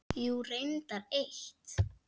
Jú, reyndar eitt.